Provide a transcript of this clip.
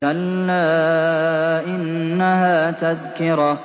كَلَّا إِنَّهَا تَذْكِرَةٌ